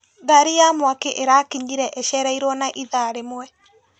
Ngari ya mwaki ĩrakinyire icereirwo na ithaa rĩmwe.